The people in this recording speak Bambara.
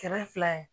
Kɛmɛ fila in